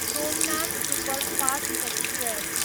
Somnath superfast express